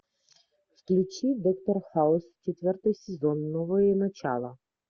включи доктор хаус четвертый сезон новое начало